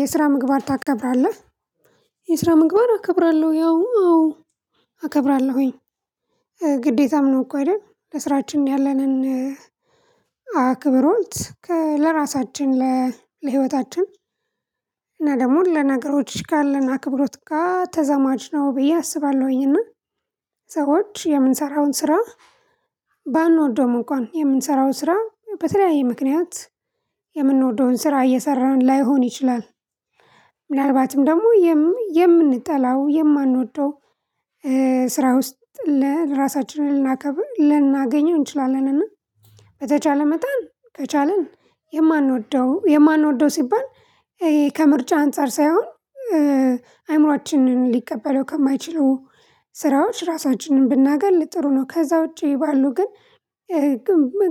የስራ ምግባር ታከብራለህ? የስራ ምግባር እከብራለሁ ያው አዎ እከብራለሁኝ ግዴታም ነው እኮ አይደል ለስራችን ያለንን አክብሮት ለራሳችን ለህይወታችን እና ደግሞ ለነገሮች ካለን አክብሮት ጋር ተዛማጅ ነው ብዬ አስባለሁኝና። ሰዎች የምንሰራውን ስራ ባንወደው እንኳን የምንሰራው ስራ በተለያየ ምክንያት የምንወደውን ስራ እየሰራን ላይሆን ይችላል። ምናልባትም ደግሞ የምንጠላው የማንወደው ስራ ውስጥ ለራሳችንን ልናከብር ልናገኘው እንችላለን። እና በተቻለ መጣን ከቻልን የማንወደው የማንወደው ሲባል ይሄ ከምርጫ አንፃር ሳይሆን አይምሮአችንን ሊቀበለው ከማይችሉ ስራዎች ራሳችንን ብናገል ጥሩ ነው። ከዛ ውጪ ባሉ ግን።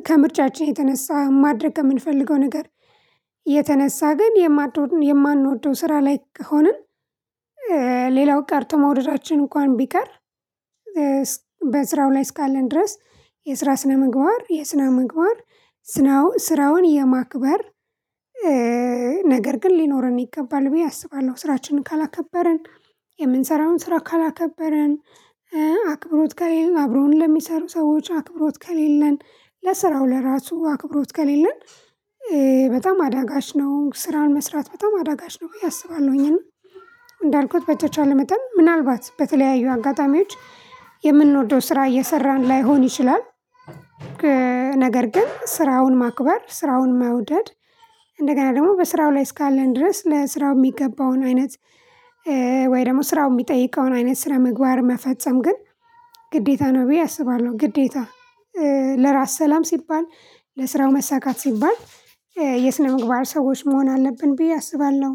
ከምርጫችን የተነሳ ማድረግ የምንፈልገው ነገር የተነሳ ግን የማንወደው ስራ ላይ ከሆነን። ሌላው ቀርቶ መውደዳችን እንኳን ቢቀር። በስራው ላይ እስካለን ድረስ የስራ ስነ ምግባር የስነ ምግባር ስራውን የማክበር ነገር ግን ሊኖረን ይገባል ብዬ አስባለሁ። ስራችንን ካላከበርን የምንሰራውን ስራ ካላከበርን አክብሮት ጋር ይሄን አብሮን ለሚሰሩ ሰዎች አክብሮት ከሌለን ለስራው ለራሱ አክብሮት ከሌለን። በጣም አዳጋች ነው ስራን መስራት በጣም አዳጋች ነው ብዬ አስባለሁኝ። እና እንዳልኩት በተቻለው መጠን ምናልባት በተለያዩ አጋጣሚዎች የምንወደው ስራ እየሰራን ላይሆን ይችላል። ነገር ግን ስራውን ማክበር ስራውን መውደድ እንደገና ደግሞ በስራው ላይ እስካለን ድረስ ለስራው የሚገባውን አይነት ወይ ደግሞ ስራው የሚጠይቀውን አይነት ስራ ምግባር መፈጸም ግን ግዴታ ነው ብዬ አስባለሁ። ግዴታ ለራስ ሰላም ሲባል ለስራው መሳካት ሲባል የስነ ምግባር ሰዎች መሆን አለብን ብዬ አስባለሁ።